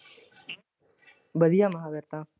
ਵਧੀਆ ਮਹਾ ਫੇਰ ਤਾਂ।